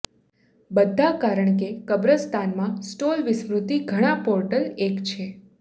બધા કારણ કે કબ્રસ્તાન માં સ્ટોલ વિસ્મૃતિ ઘણા પોર્ટલ એક છે